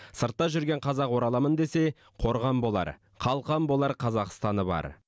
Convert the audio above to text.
сыртта жүрген қазақ ораламын десе қорған болар қалқан болар қазақстаны бар